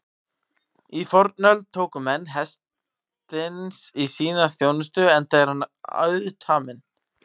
Í fornöld tóku menn hestinn í sína þjónustu enda er hann auðtaminn.